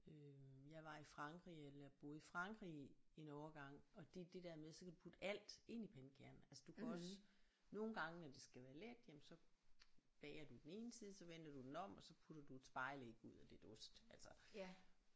Øh jeg var i Frankrig eller jeg boede i Frankrig i en årgang og de der med så kan du putte alt ind i pandekagerne altså du kan også nogle gange når det skal være let jamen så bager du den ene side så vender du den om og så putter du et spejlæg ud og lidt ost altså